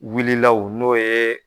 Wulila u n'o ye